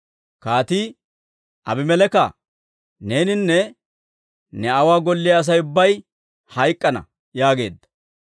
Kaatii, «Abimeleeka, neeninne ne aawuwaa golliyaa Asay ubbay hayk'k'ana» yaageedda.